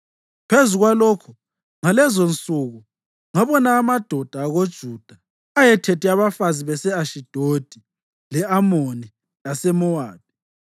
Phezu kwalokho, ngalezonsuku ngabona amadoda akoJuda ayethethe abafazi base-Ashidodi, le-Amoni laseMowabi.